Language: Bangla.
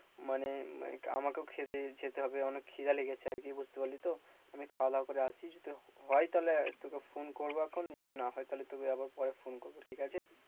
মানে, মানে কি আমাকেও খেতে যেতে হবে অনেক খিদা লেগেছে আর কি বুঝতে পারলি তো? আমি খাওয়া দাওয়া করে আসি যদি হয় তাহলে তোকে phone করবো এখন যদি না হয় তাহলে তোকে আবার পরে phone করবো ঠিক আছে।